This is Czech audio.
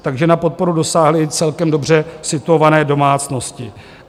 Takže na podporu dosáhly i celkem dobře situované domácnosti.